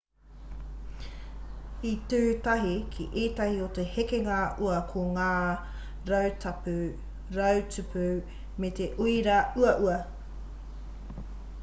i tū tahi ki ētahi o te hekenga ua ko ngā rautupu me te uira auau